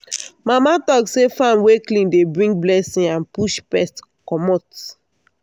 mama talk say farm wey clean dey bring blessing and push pest commot.